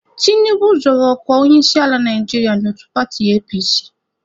Tinubu zọrọ ọkwa onyeisiala Naijiria n'otu paatị APC.